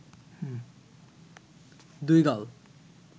দুই গাল